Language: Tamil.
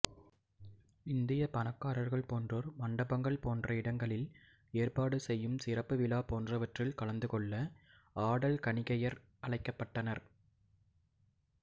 இந்திய பணக்காரர்கள் போன்றோர் மண்டபங்கள் போன்ற இடங்களில் ஏற்பாடு செய்யும் சிறப்பு விழா போன்றவற்றில் கலந்துகொள்ள ஆடல் கணிகையர் அழைக்கப்பட்டனர்